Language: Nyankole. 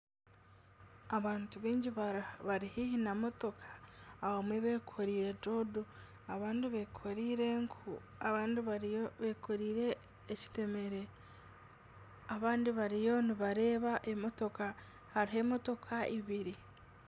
Abantu baingi bari haihi na motoka abamwe beekoreire doodo abandi beekoreire enku abandi beekoreire ekiteemere abandi bariyo nibareeba emotoka hariho emotoka eibiri.